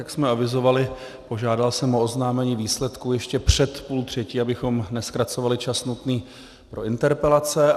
Jak jsme avizovali, požádal jsem o oznámení výsledků ještě před půl třetí, abychom nezkracovali čas nutný pro interpelace.